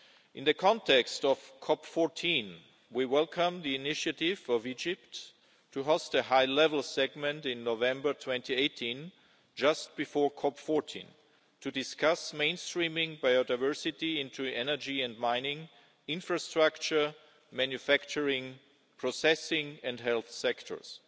In the context of COP14, we welcome the initiative of Egypt to host a high-level segment in November 2018, just before COP14, to discuss mainstreaming biodiversity into energy and mining, infrastructure, manufacturing, processing and the health sectors.